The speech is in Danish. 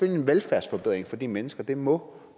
en velfærdsforbedring for de mennesker det må